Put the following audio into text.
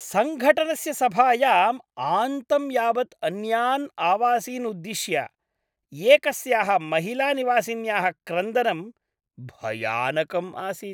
सङ्घटनस्य सभायाम् आन्तं यावत् अन्यान् आवासीन् उद्दिश्य एकस्याः महिलानिवासिन्याः क्रन्दनं भयानकम् आसीत्।